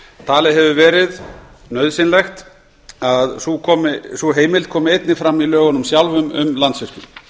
talið hefur verið nauðsynlegt að sú heimild komi einnig fram í lögunum sjálfum um landsvirkjun